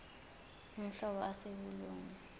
uhlobo ase kolunye